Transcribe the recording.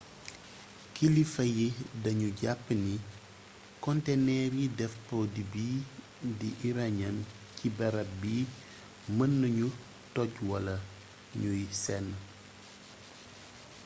kilifa yi dañu jàpp ni konteneer yi def produit bii di uranium ci barab bi mën nañu toj wala ñuy senn